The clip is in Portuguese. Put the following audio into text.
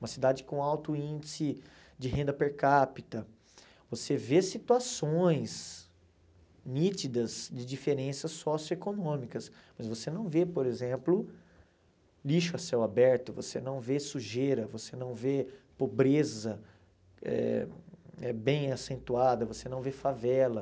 Uma cidade com alto índice de renda per capita, você vê situações nítidas de diferenças socioeconômicas, mas você não vê, por exemplo, lixo a céu aberto, você não vê sujeira, você não vê pobreza eh eh bem acentuada, você não vê favela.